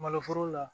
Malo foro la